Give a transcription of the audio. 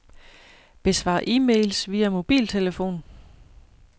Besvar e-mails via mobiltelefon.